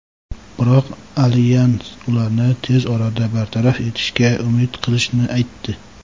biroq alyans ularni tez orada bartaraf etishga umid qilishini aytdi.